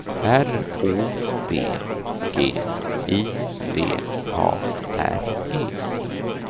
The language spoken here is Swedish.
R Å D G I V A R E